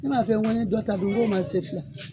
N ma f'i ye ngo n ye dɔ ta bi, ngo ma se fɔlɔ